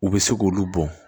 U bɛ se k'olu bɔn